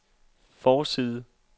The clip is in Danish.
forside